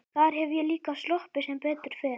Þar hef ég líka sloppið sem betur fer.